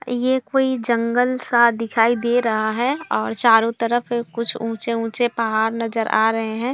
ये कोई जंगल सा दिखाई दे रहा है और चारो तरफ कुछ ऊंचे-ऊंचे पहाड़ नजर आ रहे है।